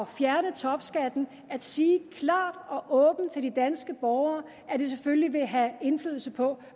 fjerne topskatten at sige klart og åbent til de danske borgere at det selvfølgelig vil have indflydelse på